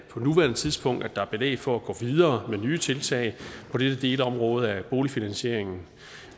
på nuværende tidspunkt er belæg for at gå videre med nye tiltag på dette delområde af boligfinansieringen